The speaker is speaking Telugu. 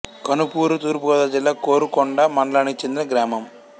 కనుపూరు తూర్పు గోదావరి జిల్లా కోరుకొండ మండలానికి చెందిన గ్రామం